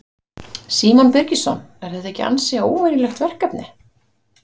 Símon Birgisson: Er þetta ekki ansi óvenjulegt verkefni?